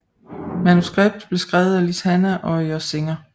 Manuskript blev skrevet af Liz Hannah og Josh Singer